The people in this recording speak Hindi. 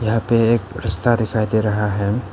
यहां पे एक रास्ता दिखाई दे रहा है।